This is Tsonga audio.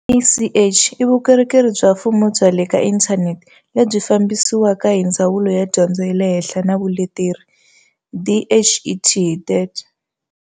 CACH i vukorhokeri bya mfumo bya le ka inthanete lebyi fambisiwaka hi Ndzawulo ya Dyondzo ya le Henhla na Vuleteri, DHET.